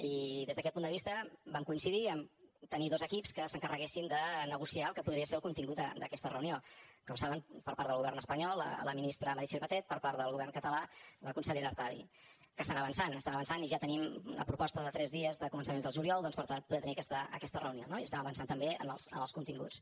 i des d’aquest punt de vista vam coincidir a tenir dos equips que s’encarreguessin de negociar el que podria ser el contingut d’aquesta reunió com saben per part del govern espanyol la ministra meritxell batet per part del govern català la consellera artadi que estan avançant que estan avançant i ja tenim una proposta de tres dies de començaments del juliol doncs per poder tenir aquesta reunió no i estem avançant també en els continguts